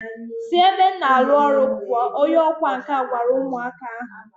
Si ebe m na alu oru puuo, Onye ọkwá nkà gwara umu aka ahu.